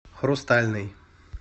хрустальный